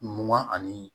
Mugan ani